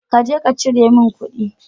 Kaje ka cire min kuɗi.